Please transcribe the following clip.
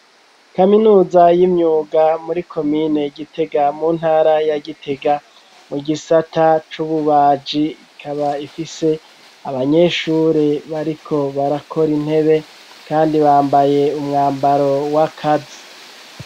Kaminuza y'imyuga, muri komine gitega mu ntara ya gitega, mu gisata c'ububaji ,ikaba ifise abanyeshuri bariko barakora intebe kandi bambaye umwambaro wakazi.